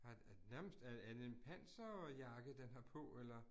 Har nærmest, er er det en panserjakke den har på eller